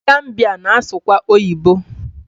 Ndị Gambiya na-asụkwa oyibo